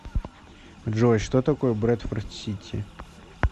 джой что такое брэдфорд сити